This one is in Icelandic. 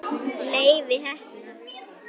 Leifi heppna.